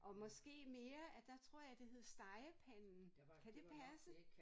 Og måske mere at der tror jeg det hed Stegepanden kan det passe?